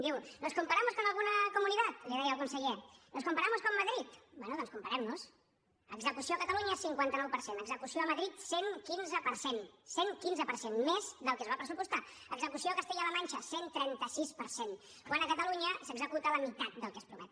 diu nos comparamos con alguna comunidad li deia al conseller nos comparamos con madrid bé doncs comparem nos execució a catalunya cinquanta nou per cent execució a madrid cent i quinze per cent cent i quinze per cent més del que es va pressupostar execució a castella la manxa cent i trenta sis per cent quan a catalunya s’executa la meitat del que es promet